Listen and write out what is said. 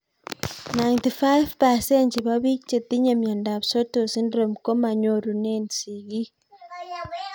95% chepo pik chetinye miondop Sotos syndrome komanyorunee sig'ik